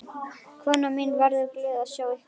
Konan mín verður glöð að sjá ykkur.